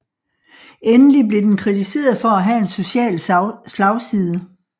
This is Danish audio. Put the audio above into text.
Endelig blev den kritiseret for at have en social slagside